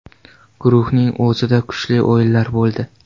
Guruhning o‘zida kuchli o‘yinlar bo‘ldi.